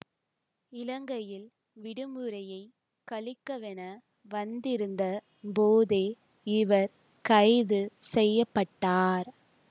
இலங்கையில் விடுமுறையைக் கழிக்கவென வந்திருந்த போதே இவர் கைது செய்ய பட்டார்